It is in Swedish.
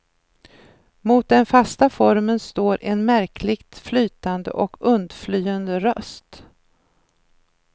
Mot den fasta formen står en märkligt flytande och undflyende röst.